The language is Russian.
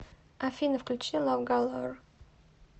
афина включи лав галор